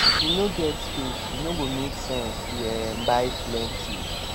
if you no get space e no go make sense to um buy plenty